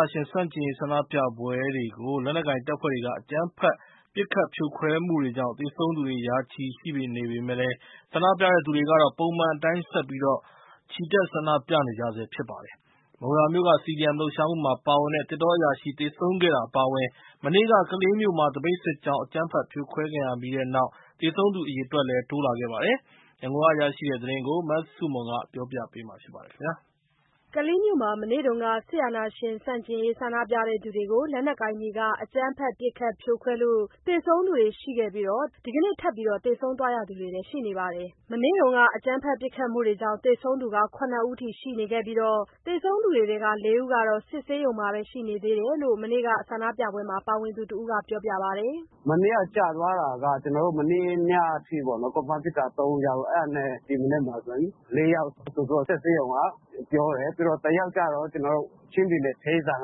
ာရှင်ဆန့်ကျင်ရေး ဆန္ဒပြပွဲတွေကို လက်နက်ကိုင်တပ်ဖွဲ့တွေက အကြမ်းဖက် ပစ်ခတ်ဖြိုခွဲမှုတွေကြောင့် သေဆုံးသူတွေ ရာချီရှိနေပေမဲ့ ဆန္ဒပြသူတွေကတော့ ပုံမှန်အတိုင်း ဆက်လက် ချီတက် ဆန္ဒပြနေကြဆဲဖြစ်ပါတယ်။ မုံရွာမြို့က CDM လှုပ်ရှားမှုမှာပါဝင်တဲ့ သစ်တောအရာရှိ သေဆုံးခဲ့တာအပါအဝင် မနေ့က ကလေးမြို့မှာ သပိတ်စစ်ကြောင်း အကြမ်းဖက် ဖြိုခွဲခံရပြီးတဲ့နောက် သေဆုံးသူအရေအတွက် တိုးလာပါတယ်။ ရန်ကုန်က ရရှိတဲ့သတင်းကို မဆုမွန်က ပြောပြထားပါတယ်။ ကလေးမြို့မှာ မနေ့က စစ်အာဏာရှင်ဆန့်ကျင်ရေး ဆန္ဒပြသူတွေကို လက်နက်ကိုင်တွေက အကြမ်းဖက် ပစ်ခတ်ဖြိုခွဲမှုကြောင့် သေဆုံးသူတွေ ရှိခဲ့ပြီး ဒဏ်ရာပြင်းထန်သူတွေထဲ ဒီကနေ့ ထပ်မံသေဆုံးသူတွေလည်း ရှိနေပါတယ်။ မနေ့က အကြမ်းဖက်ပစ်ခတ်မှုတွေကြောင့် သေဆုံးသူ ၇ ဦးအထိရှိနေပြီး သေဆုံးသူထဲက ၄ ဦးကတော့ စစ်ဆေးရုံမှာပဲ ရှိနေသေးတယ်လို့ မနေ့က ဆန္ဒပြပွဲမှာ ပါဝင်သူတစ်ဦးက ပြောပြပါတယ်။ “မနေ့က ကျသွားတာက ကျနော်တို့ မနေ့ညက အထိပေါ့နော် confirm ဖြစ်တာ ၃ ယောက်၊ ဒီမနက်မှာ ၄ ယောက် ထပ်တိုးပြီးတော့ စစ်ဆေးရုံက ပြောတယ်။ တယောက်ကျတော့ ချင်းပြည်နယ်က အသက်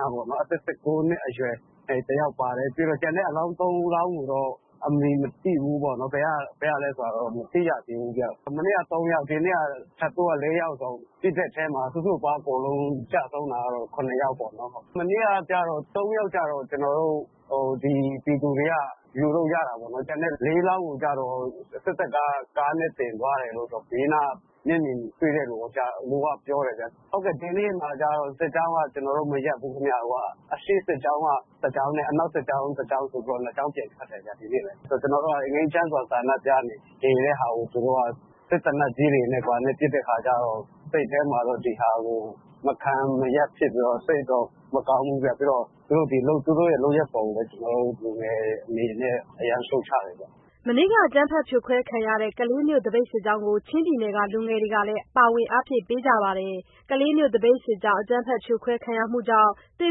၁၉ နှစ်အရွယ် တယောက်ပါတယ်။ ပြီးတော့ ကျန်တဲ့အလောင်း ၃ လောင်းကိုတော့ အမည်မသိဘူးပေါ့နော်။ ဘယ်ကလဲဆိုတာတော့ မသိရသေးဘူးဗျ။ မနေ့က ၃ ယောက်၊ ဒီနေ့က ထပ်တိုးက ၄ ယောက်ဆိုတော့ စုစုပေါင်း အကုန်လုံးကျဆုံးတာကတော့ ၇ ယောက်ပေါ့နော်။ မနေ့က ၃ ယောက်ကျတော့ ကျနော်တို့ဒီ ပြည်သူတို့က ယူလို့ရလိုက်တာပေါ့။ ကျန်တဲ့ ၄ လောင်းကိုကျတော့ စစ်တပ်က ကားနဲ့တင်သွားတယ်လို့ ဘေးနားက မျက်မြင်တွေကပြောတယ်ဗျ။ ဒီနေ့မှာလည်း ကျနော်တို့ စစ်ကြောင်းက မရပ်ဘူးခင်ဗျ။ အရှေ့စစ်ကြောင်း တစ်ကြောင်းနှင့် အနောက်စစ်ကြောင်း တစ်ကြောင်းဆိုပြီးတော့ နှစ်ကြောင်းပြန်ထွက်တယ်ဗျ ဒီနေ့။ ကျနော်တို့က ငြိမ်းချမ်းစွာ ဆန္ဒပြနေတာကို သူတို့က ဒီစက်သေနတ်ကြီးတွေနဲ့ ဘာနဲ့ ပစ်တဲ့အခါကျတော့ စိတ်ထဲမှာတော့ ဒီဟာကို မခံမရပ်နိုင်ဖြစ်ပြီးတော့ စိတ်တော့ မကောင်းဘူး။ သူတို့ရဲ့ လုပ်ရပ်ကို လူငယ်တွေအနေနဲ့ အရမ်းကို ရှုတ်ချပါတယ်။” မနေ့က အကြမ်းဖက် ဖြိုခွဲခံရတဲ့ ကလေးမြို့သပိတ်စစ်ကြောင်းကို ချင်းပြည်နယ်က လူငယ်တွေကလည်း ပါဝင်အားဖြည့်ပေးကြပါတယ်။ ကလေးမြို့သပိတ်စစ်ကြောင်း အကြမ်းဖက် ဖြိုခွဲခံရမှုကြောင့် သေ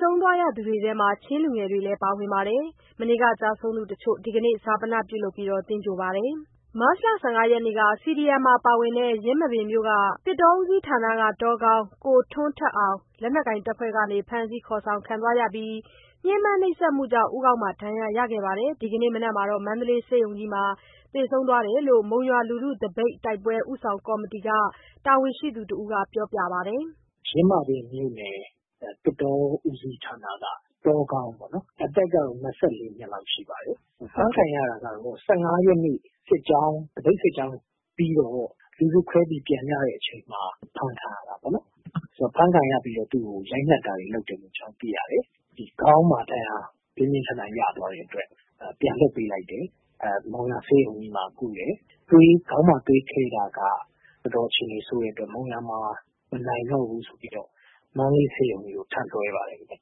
ဆုံးသူတွေထဲမှာ ချင်းလူငယ်တွေလည်း ပါဝင်ပါတယ်။ မနေ့က ကျဆုံးသူ တချို့ ဒီကနေ့ ဈာပန ပြုလုပ် သဂြိၤုလ်ပါတယ်။ မတ်လ ၁၅ ရက်နေ့က CDM မှာပါဝင်တဲ့ ယင်းမာပင်မြို့ သစ်တောဦးစီးဌာနက တောခေါင်း ကိုထွန်းထက်အောင် လက်နက်ကိုင်တပ်ဖွဲ့တွေက ဖမ်းဆီးခေါ်ဆောင်သွားပြီး ညှဉ်းပန်းနှိပ်စက်မှုကြောင့် ဦးခေါင်းမှာ ဒဏ်ရာရပြီး ဒီနေ့မနက်မှာ မန္တလေးဆေးရုံကြီးမှာ သေဆုံးခဲ့တယ်လို့ မုံရွာလူထုသပိတ် တိုက်ပွဲ ဦးဆောင်ကော်မတီက တာဝန်ရှိသူတစ်ဦးက ပြောပြပါတယ်။ “ယင်းမာပင်မြို့နယ် သစ်တောဦးစီးဌာနက တောခေါင်းပေါ့နော်... အသက်ကတော့ ၂၄ နှစ်လောက်တော့ ရှိပါပြီ။ ဖမ်းခံရတာကတော့ ၁၅ ရက်နေ့ သပိတ်စစ်ကြောင်းပြီးတော့ လူစုခွဲပြီး ပြန်ကြတဲ့ အချိန်မှာ အဖမ်းခံရတာပေါ့နော်။ ဖမ်းခံရပြီးတော့ သူ့ကို ရိုက်နှက်တာတွေလုပ်တယ်လို့ ကျနော်တို့ သိရတယ်။ ရိုက်နှက်ပြီးတဲ့အခါ ခေါင်းမှာ ပြင်းပြင်းထန်ထန် ဒဏ်ရာရသွားတဲ့အတွက် ပြန်လွှတ်ပေးလိုက်တယ်။ မုံရွာ ဆေးရုံကြီးမှာ ကုတယ်။ ခေါင်းမှာ သွေးခဲတာက တော်တော်အခြေအနေဆိုးတဲ့အတွက် မုံရွာမှာ မနိုင်တော့ဘူးဆိုပြီးတော့ မန္တလေးဆေးရုံကြီးကို ထပ်လွှဲပါတယ်ခင်ဗျ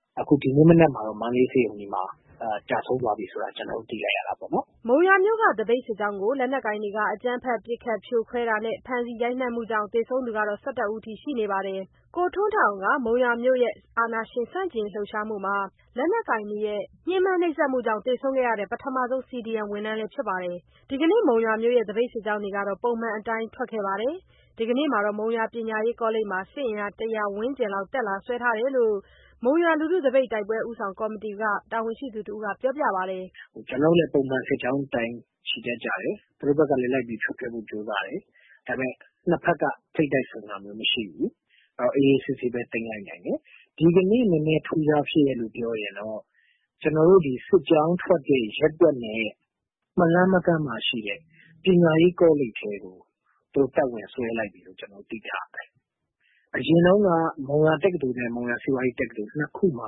။ အခု ဒီနေ့မနက်မှာတော့ မန္တလေးဆေးရုံကြီးမှာ ကျဆုံးသွားပြီဆိုတာကို ကျနော်တို့ သိလိုက်ရတာပေါ့နော်။” မုံရွာမြို့မှာ သပိတ်စစ်ကြောင်းကို လက်နက်ကိုင်တွေက အကြမ်းဖက်ပစ်ခတ်ဖြိုခွဲတာနှင့် ဖမ်းဆီးရိုက်နှက်မှုကြောင့် သေဆုံးသူ ၁၁ ဦးထိရှိပါတယ်။ ကိုထွန်းထက်အောင်က မုံရွာမြို့ရဲ့ အာဏာရှင်ဆန့်ကျင်ရေးလှုပ်ရှားမှုမှာ လက်နက်ကိုင်တွေရဲ ညှဉ်းပန်းနှိပ်စက်မှုကြောင့်သေဆုံးခဲ့တဲ့ ပထမဆုံး CDM ဝန်ထမ်းဖြစ်ပါတယ်။ ဒီကနေ့ မုံရွာမြို့ရဲ့ သပိတ်စစ်ကြောင်းတွေ ပုံမှန်အတိုင်းထွက်ခဲ့ကြပါတယ်။ ဒီကနေ့မှာ မုံရွာပညာရေးကောလိပ်မှာ စစ်အင်အား ၁၀၀ ဝန်းကျင်လောက် တပ်လာစွဲထားတယ်လို့ မုံရွာလူထုသပိတ် တိုက်ပွဲ ဦးဆောင်ကော်မတီက တာဝန်ရှိသူတစ်ဦးက ပြောပြပါတယ်။ “ကျနော်တို့လည်း ပုံမှန် စစ်ကြောင်းအတိုင်း ချီတက်ကြတယ်။ သူတို့ဘက်ကလည်း လိုက်ပြီး ဖြိုခွဲဖို့ ကြိုးစားတယ်။ ဒါပေမဲ့ နှစ်ဘက်က ထိပ်တိုက်ဆုံတာမျိုးမရှိဘူး။ အေးအေးဆေးဆေးပဲ သိမ်းလိုက်နိုင်တယ်။ ဒီကနေ့ နည်းနည်း ထူးခြားဖြစ်ရပ်လို့ ပြောရင်တော့ ကျနော်တို့ စစ်ကြောင်းထွက်တဲ့ ရက်ကွက်နဲ့ မလှမ်းမကမ်းမှာ ရှိတဲ့ ပညာရေးကောလိပ်ထဲကို သူတို့ တပ်ဝင်စွဲလိုက်ပြီလို့ ကျနော်တို့ သိထားရတယ်။ အရင်တုန်းက မုံရွာတက္ကသိုလ်နှင့် မုံရွာ စီးပွားရေးတက္ကသိုလ် နှစ်ခုမှာ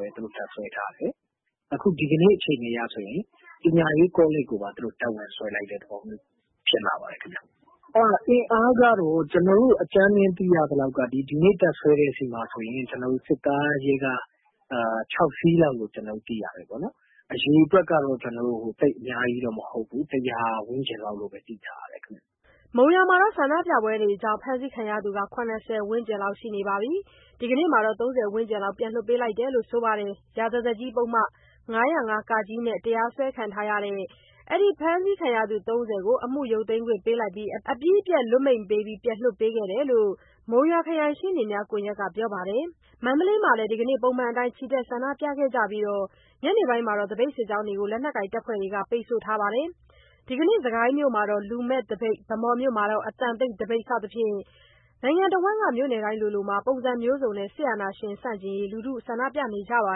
ပဲ သူတို့ တပ်စွဲထားတယ်။ အခု ဒီကနေ့ အခြေအနေအရဆိုရင် ပညာရေးကောလိပ်ကိုပါ သူတို့ တပ်ဝင်စွဲလိုက်တဲ့ သဘောမျိုးဖြစ်လာပါတယ်ခင်ဗျ။ အင်အားကတော့ ကျနော်တို့ အကြမ်းဖျဉ်းသိရသလောက်ကတော့ ဒီနေ့ တပ်စွဲတဲ့ဆီမှာဆိုရင် ကျနော်တို့ စစ်ကား၊ ရဲကား ၆ စီးလောက်လို့ ကျနော်တို့ သိရတယ်ပေါ့နော်။ အရေအတွက်က သိပ်အများကြီးတော့ မဟုတ်ဘူး၊ ၁၀၀ ဝန်းကျင်လောက်လို့တော့ သိထားရတယ်ခင်ဗျ။” မုံရွာမှာ ဆန္ဒပြပွဲတွေကြောင့် ဖမ်းဆီးခံရသူ ၇၀ ဝန်းကျင်ရှိပြီး ဒီကနေ့မှာတော့ ၃၀ ဝန်းကျင် ပြန်လွှတ်ပေးလာတယ်လို့ ဆိုပါတယ်။ ရာဇသတ်ကြီး ဥပဒေပုဒ်မ ၅၀၅ (က) နဲ့ တရားစွဲခံထားရတဲ့ အဲ့ဒီ ဖမ်းဆီးခံရသူ ၃၀ ကို အမှုရုပ်သိမ်းခွင့်ပေးပြီး အပြီးအပြတ်လွှတ်မိန့်ပေးပြီး ပြန်လွှတ်ပေးခဲ့တယ်လို့ မုံရွာခရိုင် ရှေ့နေများကွန်ယက်ကနေ သိရပါတယ်။ မန္တလေးမှာလည်း ဒီကနေ့ ပုံမှန်အတိုင်း ချီတက် ဆန္ဒပြခဲ့ကြပြီး ညနေမှာ သပိတ်စစ်ကြောင်းတွေကို လက်နက်ကိုင်တပ်ဖွဲ့တွေက ပိတ်ဆို့ထားပါတယ်။ ဒီကနေ့ စစ်ကိုင်းမြိုမှာ လူမဲ့သပိတ်၊ ဗန်းမော်မြို့မှာ အသံတိတ်သပိတ်စသဖြင့် နိုင်ငံတစ်ဝန်းက မြို့တိုင်းမှာ ပုံစံမျိုးစုံနဲ့ စစ်အာဏာရှင်ဆန့်ကျင်ရေး ဆန္ဒပြနေကြပါ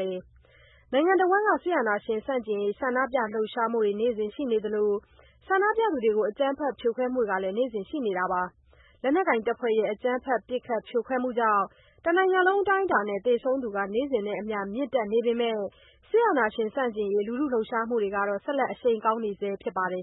တယ်။ နိုင်ငံတဝှမ်းမှာ စစ်အာဏာရှင် ဆန့်ကျင်ရေး ဆန္ဒပြလှုပ်ရှားမှုတွေ နေ့စဉ်ရှိနေသလို ဆန္ဒပြသူတွေကို အကြမ်းဖက်ဖြိုခွဲမှုတွေကလည်း နေ့စဉ်ရှိနေပါတယ်။ လက်နက်ကိုင်တပ်ဖွဲ့တွေရဲ့ အကြမ်းဖက် ပစ်ခတ်ဖြိုခွဲမှုတွေကြောင့် တနိုင်ငံလုံးအတိုင်းအတာနဲ့ သေဆုံးသူတွေ နေ့စဉ်နဲ့အမျှ မြင့်တက်နေပေမဲ့ စစ်အာဏာရှင် ဆန့်ကျင်ရေး လှုပ်ရှားမှုတွေကတော့ ဆက်လက် အရှိန်ကောင်းနေဆဲဖြစ်ပါတယ်။